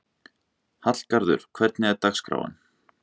Hallgarður, hvernig er dagskráin?